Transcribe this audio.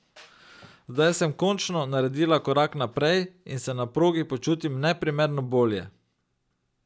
Zdaj sem končno naredila korak naprej in se na progi počutim neprimerno bolje.